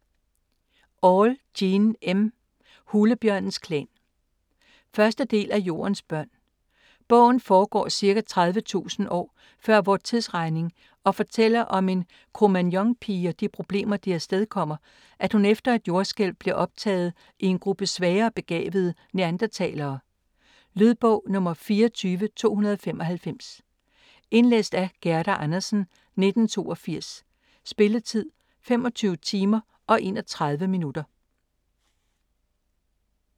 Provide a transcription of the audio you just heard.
Auel, Jean M.: Hulebjørnens klan 1. del af Jordens børn. Bogen foregår ca. 30.000 år før vor tidsregning og fortæller om en Cro-Magnon-pige og de problemer det afstedkommer, at hun efter et jordskælv bliver optaget i en gruppe svagere begavede Neanderthalere. Lydbog 24295 Indlæst af Gerda Andersen, 1982. Spilletid: 25 timer, 31 minutter.